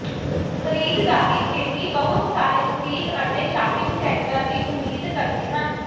ਖਰੀਦਦਾਰੀ ਪ੍ਰੇਮੀ ਬਹੁਤ ਸਾਰੇ ਬੁਟੀਕ ਅਤੇ ਸ਼ਾਪਿੰਗ ਸੈਂਟਰਾਂ ਦੀ ਉਮੀਦ ਕਰਦੇ ਹਨ